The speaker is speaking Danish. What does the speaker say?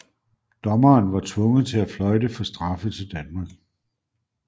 Dommeren var tvunget til at fløjte for straffe til Danmark